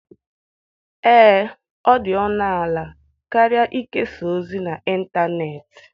Ee, ọ dị ọnụ ala karịa ikesa ozi n'ịntanetị.